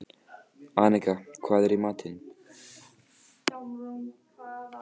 Annika, hvað er í matinn?